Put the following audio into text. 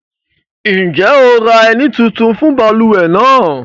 Njẹ́ o ra ẹ̀ní tuntun fun baluwe nàà?